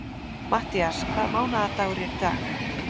Matthías, hvaða mánaðardagur er í dag?